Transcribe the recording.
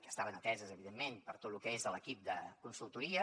que estaven ateses evidentment per tot lo que és l’equip de consultoria